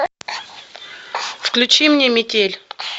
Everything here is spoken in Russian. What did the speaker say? включи мне микель